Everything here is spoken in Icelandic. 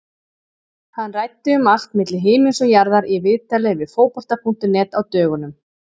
Hann ræddi um allt milli himins og jarðar í viðtali við Fótbolta.net á dögunum.